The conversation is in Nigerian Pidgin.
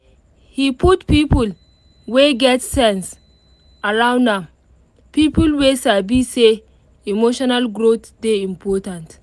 he put people wey get sense around am people wey sabi say emotional growth dey important